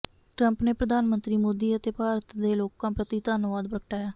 Trump ਨੇ ਪ੍ਰਧਾਨ ਮੰਤਰੀ ਮੋਦੀ ਅਤੇ ਭਾਰਤ ਦੇ ਲੋਕਾਂ ਪ੍ਰਤੀ ਧੰਨਵਾਦ ਪ੍ਰਗਟਾਇਆ